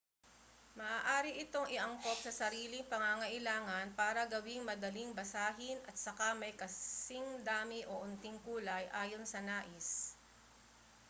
maaari itong iangkop sa sariling pangangailangan para gawing madaling basahin at saka may kasing dami o unting kulay ayon sa nais